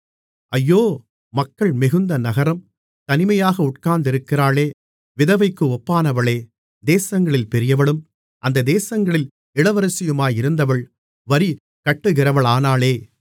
2 ஐயோ மக்கள் மிகுந்த நகரம் தனிமையாக உட்கார்ந்திருக்கிறாளே விதவைக்கு ஒப்பானாளே தேசங்களில் பெரியவளும் அந்த தேசங்களில் இளவரசியுமாயிருந்தவள் வரிகட்டுகிறவளானாளே